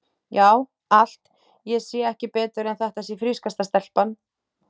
Já, allt, ég sé ekki betur en þetta sé frískasta stelpa.